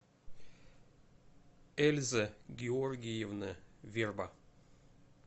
эльза георгиевна верба